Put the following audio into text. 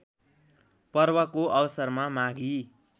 पर्वको अवसरमा माघी